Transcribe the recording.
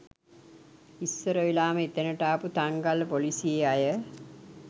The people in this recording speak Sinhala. ඉස්සර වෙලාම එතැනට ආපු තංගල්ල ‍පොලිසියේ අය